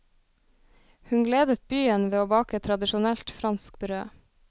Hun gledet byen ved å bake tradisjonelt fransk brød.